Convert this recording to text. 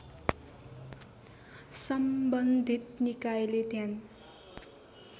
सम्बन्धित निकायले ध्यान